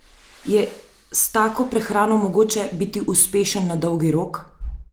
Je s tako prehrano mogoče biti uspešen na dolgi rok?